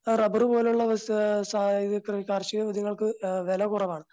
Rubber പോലുള്ള കാർഷിക വിളകൾക്ക് വില കുറവാണ്.